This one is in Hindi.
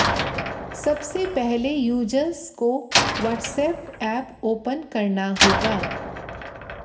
सबसे पहले यूजर्स को वॉट्सऐप ऐप ओपन करना होगा